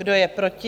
Kdo je proti?